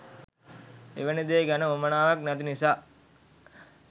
එවැනි දේ ගැන උවමනාවක් නැති නිසා ?